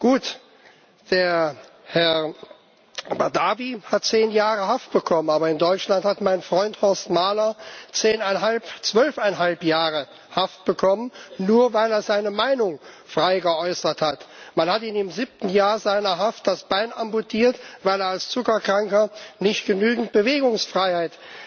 Gut, Herr Badawi hat zehn Jahre Haft bekommen, aber in Deutschland hat mein Freund Horst Mahler zehneinhalb, zwölfeinhalb Jahre Haft bekommen, nur weil er seine Meinung frei geäußert hat. Man hat ihm im siebten Jahr seiner Haft das Bein amputiert, weil er als Zuckerkranker nicht genügend Bewegungsfreiheit